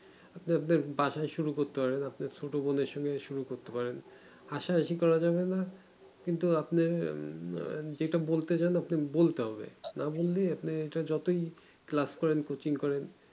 যে আপনার বাছাই শুরু করতে পারবেন আপনার ছোট বোনের সঙ্গে শুরু করতে পারেন হাসা হাসি করা যাবে না কিন্তু আপনি যেটা বলতে যান আপনি বলতে হবে না বলে আপনি যতই এটা class করেন coaching করেন